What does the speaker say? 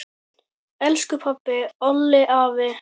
Elsku pabbi, Olli, afi.